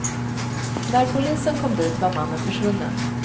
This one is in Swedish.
När polisen kom dit var mannen försvunnen.